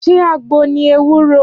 Ṣé àgbo ni ewúro?